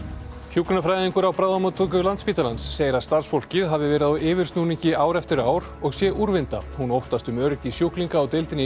hjúkrunarfræðingur á bráðamóttöku Landspítalans segir að starfsfólkið hafi verið á yfirsnúningi ár eftir ár og sé úrvinda hún óttast um öryggi sjúklinga á deildinni